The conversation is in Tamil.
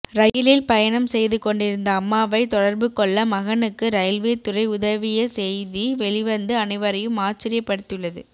ரயிலில் பயணம் செய்து கொண்டிருந்த அம்மாவை தொடர்பு கொள்ள மகனுக்கு ரயில்வே துறை உதவிய செய்தி வெளிவந்து அனைவரையும் ஆச்சரியப்படுத்தியுள்ளது